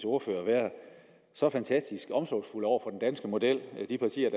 ordførere være så fantastisk omsorgsfulde over for den danske model det er de partier